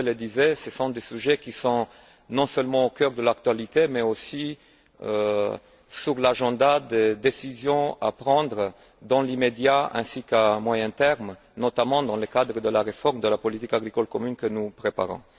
Bové le disait, ce sont des sujets qui sont non seulement au cœur de l'actualité mais aussi à l'ordre du jour des décisions à prendre dans l'immédiat ainsi qu'à moyen terme, notamment dans le cadre de la réforme de la politique agricole commune que nous préparons.